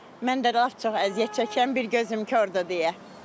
Mən də lap çox əziyyət çəkən bir gözüm kordur deyə.